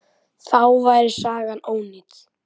Þá væri sagan ónýt.